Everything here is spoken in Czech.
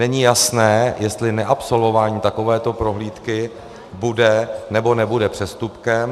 Není jasné, jestli neabsolvování takovéto prohlídky bude, nebo nebude přestupkem.